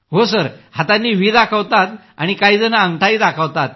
हो सर हातांनी व्ही दाखवतात काहीजण अंगठा दाखवतात